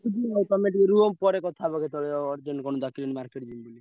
ରଖୁଛି ଆଉ ତମେ ଟିକେ ରୁହ ପରେ କଥା ହେବା କେତବେଳେ ଅ urgent କଣ ଡାକିଲେଣି market ଯିବି ବୋଲି।